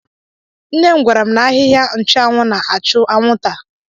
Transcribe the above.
Nne m gwara m n'ahịhịa nchụanwụ na-achụ anwụnta.